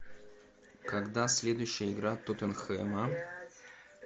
когда следующая игра тоттенхэма